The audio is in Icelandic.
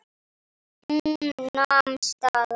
Hún nam staðar.